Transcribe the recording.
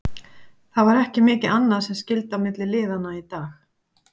Það var ekki mikið annað sem skyldi á milli liðanna í dag.